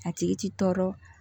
A tigi ti tɔɔrɔ